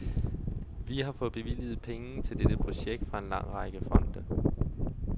Vi har fået bevilget penge til dette projekt fra en lang række fonde.